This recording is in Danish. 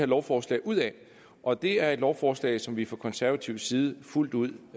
lovforslag ud af og det er et lovforslag som vi fra konservativ side fuldt ud